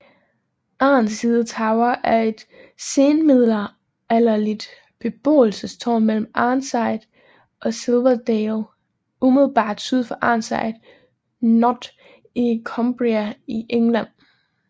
Arnside Tower er et senmiddelalderligt beboelsestårn mellem Arnside og Silverdale umiddelbart syd for Arnside Knott i Cumbria i England